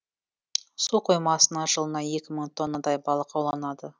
су қоймасынан жылына екі мың тоннадай балық ауланады